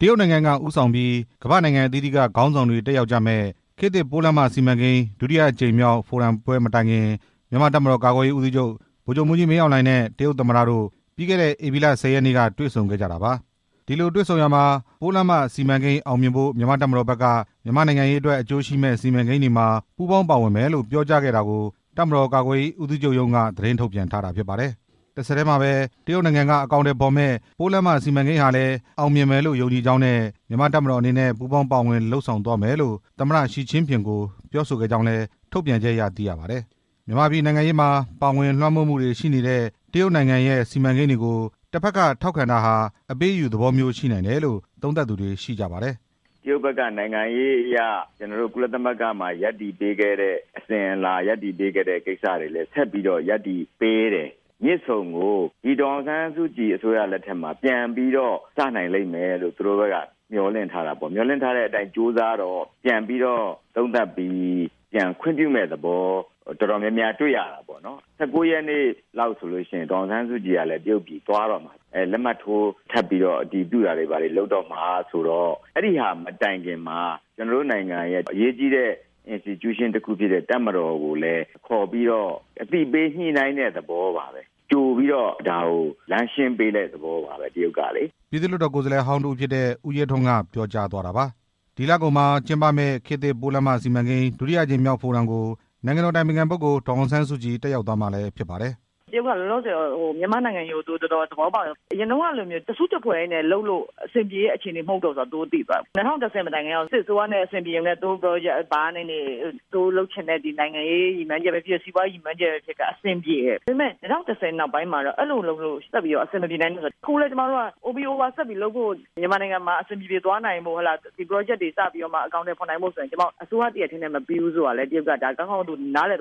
တရုတ်နိုင်ငံက ဦးဆောင်ပြီး ကမ္ဘာ့နိုင်ငံအသီးသီးတို့ တက်ရောက်ကြမယ့် ခေတ်သစ်ပိုးလမ်းမစီမံကိန်း ဒုတိယအကြိမ်မြောက်ဖိုရမ်ပွဲ မတိုင်ခင် မြန်မာ့တပ်မတော်ကာကွယ်ရေးဦးစီးချုပ် ဗိုလ်ချုပ်မှူးကြီး မင်းအောင်လှိုင်နဲ့ တရုတ် သမ္မတ တို့ အခုလိုတွေ့ဆုံခဲ့ကြတာပါ။ တပ်မတော်ကာကွယ်ရေးဦးစီးချုပ် တရုတ်ခရီးစဉ်အတွင်း သမ္မတ Mr.Xi Jinping နဲ့ တွေ့ဆုံခဲ့ရာမှာ ပိုးလမ်း မစီမံကိန်းအောင်မြင်ဖို့ မြန်မာ့တပ်မတော်ဖက်ကလည်း မြန်မာနိုင်ငံနဲ့ အကျိုးရှိမယ့်စီမံကိန်းတွေမှာ ပူးပေါင်းပါဝင်မယ်လို့ ပြောကြားခဲ့တာကို တပ်မတော်ကာကွယ်ရေးဦးစီးချုပ်ရုံးက သတင်းထုတ်ပြန်ထား ပါတယ်။ မြန်မာပြည်နိုင်ငံရေးမှာ ပါဝင်လွှမ်းမိုးမှုတွေရှိနေတဲ့ တရုတ်နိုင်ငံရဲ့စီမံကိန်းတွေကို တပ်ဖက်က ထောက်ခံတာဟာ အပေးအယူသဘောမျိုး ရှိနိုင်တယ်လို့ သုံးသပ်သူတွေ ရှိကြပါတယ်။ "တရုတ်ဖက်က နိုင်ငံရေးအရ ကုလသမဂ္ဂမှာ ရပ်တည်ပေးခဲ့တဲ့အစဉ်အလာ ဆက်ပြီးတော့လည်း ရပ်တည်ပေးတယ် မြစ်ဆုံကို ဒေါ်အောင်ဆန်းစုကြည် လက်ထက်မှာ ပြန်စနိုင်မယ်လို့ မျှော်လင့်ထားတာကို ပြန်ခွင့်ပြုမယ့်သဘောတွေ တော်တော်များများ တွေ့ရတယ်၊ ၁၉ ရက်နေ့လောက်ဆို ဒေါ်အောင်ဆန်းစုကြည်ကလည်း တရုတ်ပြည်သွားတော့မှာ လက်မှတ်ထိုးထပ်ပြီးတော့ အတည်ပြုတာတွေလုပ်တော့မှာဆိုတော့ အဲဒီဟာမတိုင်ခင်မှာ ကျွန်တော်တို့နိုင်ငံရဲ့ အရေးကြီးတဲ့ အဖွဲ့အစည်းတစ်ခုဖြစ်တဲ့ တပ်မတော်ကိုလည်း ခေါ်ပြီးတော့ အသိပေးညှိနှိုင်းတဲ့သဘောပါပဲ ကြိုပြီးတော့ လမ်းရှင်းပေးတဲ့သဘောပါပဲ တရုတ်ကလေ" ပြည်သူ့လွှတ်တော် ကိုယ်စားလှယ်ဟောင်း တစ်ဦးဖြစ်တဲ့ ဦးရဲထွန်းက ပြောသွားတာပါ။ ဒီလကုန်မှာကျင်းပမယ့် ခေတ်သစ်ပိုးလမ်းမစီမံကိန်း ဒုတိယအကြိမ်မြောက် ဖိုရမ်ကို နိုင်ငံတော် အတိုင်ပင်ခံပုဂ္ဂိုလ် ဒေါ်အောင်ဆန်းစုကြည် တက်ရောက်သွားမှာလည်းဖြစ်ပါတယ်။ "တရုတ်က လောလောဆယ် မြန်မာ့နိုင်ငံရေးကို တော်တော်သဘောပေါက်တယ်၊ အရင်တုန်းကလိုမျိုး တစ်စုတစ်ဖွဲ့တည်းနဲ့ အဆင်ပြေတဲ့သဘောမျိုး လုံးဝမဟုတ်တော့ဘူးဆိုတာ သူတို့သိသွားပြီ၊ ၂၀၁၀ မတိုင်ခင်တုန်းက စစ်အစိုးရနဲ့ သူတို့ အဆင်ပြေဘာနေနေ သူတို့လုပ်ချင်တဲ့ နိုင်ငံရေးရည်မှန်းချက်ပဲ ဖြစ်ဖြစ် စီးပွားရေးရည်မှန်းချက်ပဲဖြစ်ဖြစ် အဆင်ပြေတယ်၊ ၂၀၁၀ နောက်ပိုင်း အဲဒီလိုလုပ်လို့ အဆင် မပြေနိုင်တာ ခုလည်းပဲ OBOR ဆက်ပြီးလုပ်ဖို့ မြန်မာနိုင်ငံမှာ အဆင်ပြေပြေသွားနိုင်ဖို့ ဒီပရောဂျက်တွေ သွားနိုင်ဖို့ အစိုးရတစ်ရပ်တည်းနဲ့ မပြီးနိုင်ဘူးဆိုတာ တရုတ်က ကောင်းကောင်းသိတယ်၊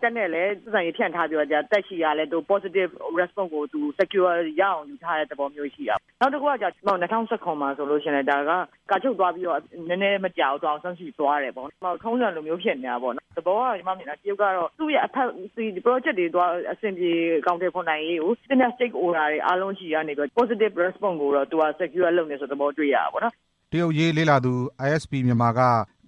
တပ်နဲ့လည်း ဖြန့်ပြီးတော့ တပ်နဲ့လည်း possive respond ကို secqurial ရယူထားတာရှိတယ်၊ ၂၀၁၇ မှာဆိုရင် ကာချုပ်သွားပြီးတော့ နောက်မကြာဘူး ဒေါ်အောင်ဆန်းစုကြည်သွားတယ် ထုံးစံလိုမျိုးဖြစ်နေတာပေါ့ သဘောကတော့ တရုတ်ကသူ့ရဲ့ပရောဂျက်တွေ အဆင်ပြေနိုင်ရေးရှိသမျှ စတိတ်ဟိုဒါတွေကနေ secqurial လုပ်နေတာတွေ့ရတယ်ပေါ့နော်" တရုတ်အရေးလေ့လာသူ ISP Myanmar က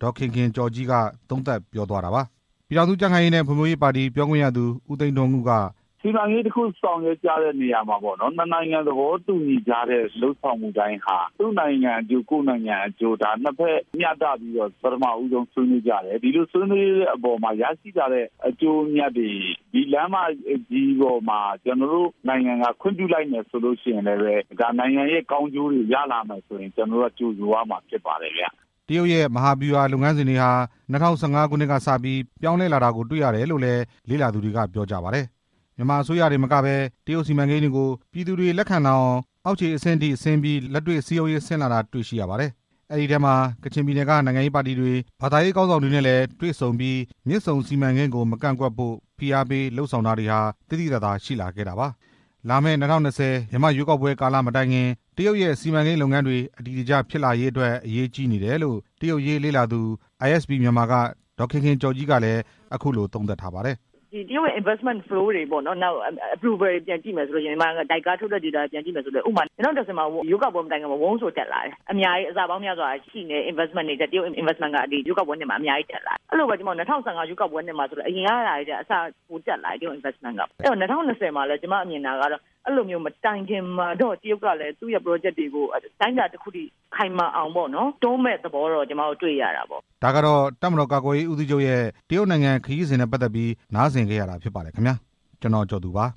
ဒေါ်ခင်ခင်ကျော်ကြီး ပြောသွားတာပါ။ ပြည်ထောင်စုကြံ့ခိုင်ရေးနဲ့ ဖွံ့ဖြိုးရေးပါတီ ပြောခွင့်ရသူ ဦးသိန်းထွန်းဦး ကလည်း "စီမံကိန်းတစ်ခု ဆောင်ရွက်ကြတဲ့အခါမှာ နှစ်နိုင်ငံ သဘောတူညီထားတဲ့ လုပ်ဆောင်မှုတိုင်းဟာ သူ့နိုင်ငံအကျိုး ကိုယ့်နိုင်ငံအကျိုး နှစ်ဖက်မျှတပြီး ပထမဆုံး ဆွေးနွေးကြတယ်၊ ရရှိလာတဲ့အကျိုးအမြတ်တွေ ဒီလမ်းမကြီးပေါ်မှာ ကျွန်တော်တို့နိုင်ငံက ခွင့်ပြုလိုက်မယ်ဆိုရင်လည်းပဲ နိုင်ငံရဲ့ကောင်းကျိုးတွေရလာနိုင်မယ်ဆိုရင် ကြိုဆိုရမှာပဲ" တရုတ်ရဲ့ မဟာဗျူဟာလုပ်ငန်းစဉ်တွေဟာ လွန်ခဲ့တဲ့ ၂၀၁၅ ကစပြီး ပြောင်းလဲလာတာကိုတွေ့ရတယ်လို့လည်း လေ့လာသူတွေက ပြောကြပါတယ်။ မြန်မာအစိုးရတင်သာမကပဲ တရုတ်စီမံကိန်းတွေကို ပြည်သူတွေလက်ခံလာဖို့ အောက်ခြေအဆင့် အထိဆင်းပြီး လက်တွေ့စည်းရုံးရေးဆင်း လုပ်ဆောင်လာတာတွေရှိပါတယ်။ အဲဒီထဲမှာ ကချင်ပြည်နယ်က နိုင်ငံရေးပါတီတွေ၊ ဘာသာရေးခေါင်းဆောင်တွေနဲ့ တွေ့ဆုံပြီး မြစ်ဆုံစီမံကိန်းကို မကန့်ကွက်ဖို့ ဖိအားပေးလုပ်ဆောင်တာတွေ သိသိသာသာရှိလာပါတယ်။ လာမယ့် ၂၀၂၀ မြန်မာ့ရွေးကောက်ပွဲကာလမတိုင်မီ တရုတ်ရဲ့စီမံကိန်းလုပ်ငန်းတွေ အတည်တကျဖြစ်လာရေးအတွက်က အရေးကြီးနေတယ်လို့ တရုတ်အရေးလေ့လာသူ ISP Myanmar က ဒေါ်ခင်ခင် ကျော်ကြီး က သုံးသပ်ပါတယ်။ "တရုတ်ရဲ့ investment flow တွေ ပြန်ကြည့်မယ်ဆိုရင် ဥပမာ ၂၀၁၀ ရွေးကောက်ပွဲမတိုင်ခင်မှာ ဝန်း ဆို တက်လာတယ်၊ အဆပေါင်းများစွာထဲက တရုတ်က အများကြီး တက်လာတယ်၊ ၂၀၁၅ ရွေး ကောက်ပွဲမှာလည်း အရင်ကထက်ကို ပိုပြီးတက်လာတယ်၊ ၂၀၂၀ မှာလည်း ရွေးကောက်ပွဲမတိုင်ခင် မှာတော့ သူ့ရဲ့ပရောဂျက်တွေကို အတိုင်းအတာတစ်ခုထိ ခိုင်မာအောင် တွန်းမယ့်သဘောတော့ တွေ့ရ တာပေါ့" ဒါကတော့ တပ်မတော်ကာကွယ်ရေးဦးစီးချုပ် တရုတ်နိုင်ငံခရီးစဉ်နဲ့ ပတ်သက်ပြီး နားဆင်ခဲ့ရတာဖြစ်ပါ တယ်ခင်ဗျာ။ ကျွန်တော် ကျော်သူ ပါ